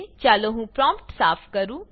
ચાલો હું પ્રોમ્પ્ટ સાફ કરું